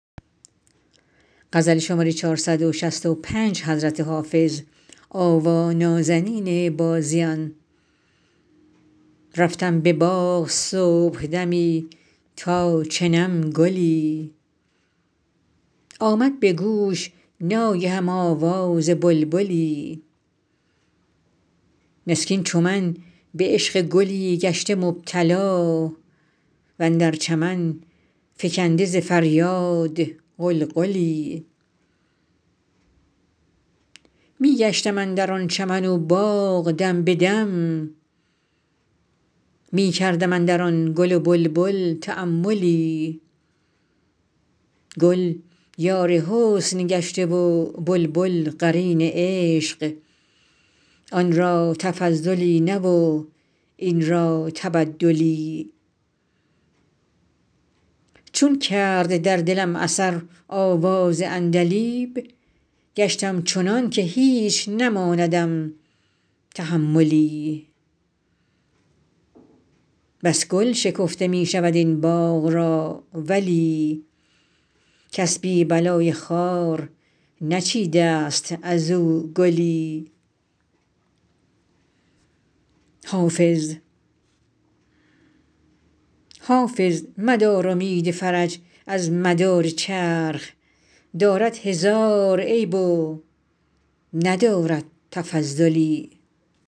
رفتم به باغ صبحدمی تا چنم گلی آمد به گوش ناگهم آواز بلبلی مسکین چو من به عشق گلی گشته مبتلا و اندر چمن فکنده ز فریاد غلغلی می گشتم اندر آن چمن و باغ دم به دم می کردم اندر آن گل و بلبل تاملی گل یار حسن گشته و بلبل قرین عشق آن را تفضلی نه و این را تبدلی چون کرد در دلم اثر آواز عندلیب گشتم چنان که هیچ نماندم تحملی بس گل شکفته می شود این باغ را ولی کس بی بلای خار نچیده ست از او گلی حافظ مدار امید فرج از مدار چرخ دارد هزار عیب و ندارد تفضلی